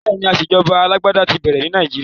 Bẹ́ẹ̀ni, ìṣèjọba alágbádá ti bẹ̀rẹ̀ ní Nàìjíríà.